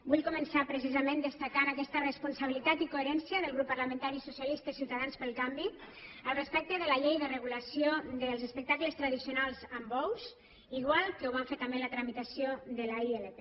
vull començar precisament destacant aquesta responsabilitat i coherència del grup parlamentari socialistes ciutadans pel canvi respecte de la llei de regulació dels espectacles tradicionals amb bous igual que ho vam fer també en la tramitació de la ilp